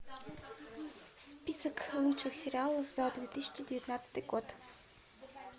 список лучших сериалов за две тысячи девятнадцатый год